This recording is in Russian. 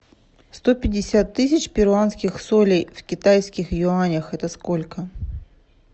сто пятьдесят тысяч перуанских солей в китайских юанях это сколько